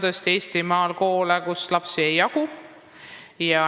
Tõesti, Eestimaal on koole, kus lapsi ei jagu.